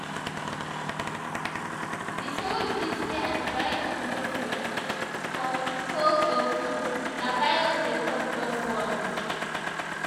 di truth be say antibiotics no fit um cure um cold or flu na virus dey cause those ones.